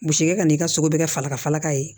Bseke e ka n'i ka sogo bɛ kɛ falaka falaka ye